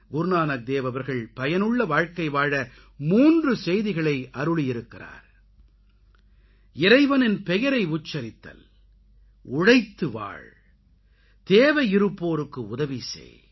குருநானக் தேவ் அவர்கள் பயனுள்ள வாழ்க்கை வாழ 3 செய்திகளை அருளியிருக்கிறார் இறைவனின் பெயரை உச்சரித்தல் உழைத்து வாழ் தேவையிருப்போருக்கு உதவிசெய்